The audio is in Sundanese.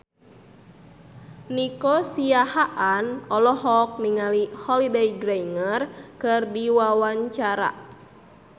Nico Siahaan olohok ningali Holliday Grainger keur diwawancara